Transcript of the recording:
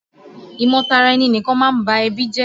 ìmọ-tara-ẹni-nìkan máa ń ba ẹbí jẹ́.